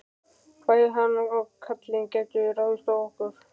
Bæði hann og karlinn gætu ráðist á okkur.